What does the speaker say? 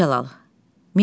Mirzəcəlal.